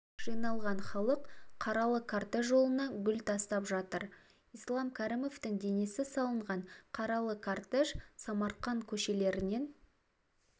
жиналған халық қаралы кортеж жолына гүл тастап жатыр ислам кәрімовтың денесі салынған қаралы кортеж самарқанд көшелерінен